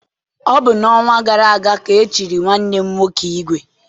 Ọ bụ n'ọnwa gara aga ka e chiri nwanne m nwoke ìgwè.